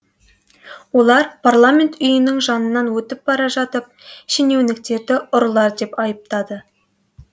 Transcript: олар парламент үйінің жанынан өтіп бара жатып шенеуніктерді ұрылар деп айыптады